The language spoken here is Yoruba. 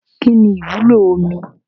Kínní ìwúlò omi?